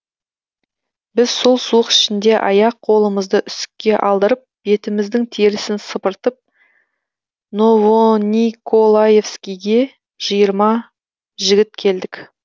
біз сол суық ішінде аяқ қолымызды үсікке алдырып бетіміздің терісін сыпыртып новониколаевскийге жиырма жігіт келдік